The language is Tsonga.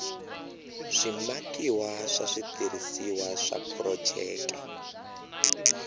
swimakiwa swa switirhisiwa swa phurojeke